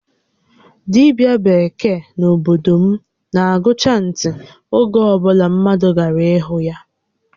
Dibia bekee n'obodo m na agụ chantị oge obula mmadụ gara ịhụ ya